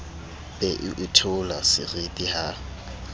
be o itheola seriti ha